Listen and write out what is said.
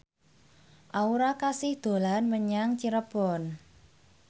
Aura Kasih dolan menyang Cirebon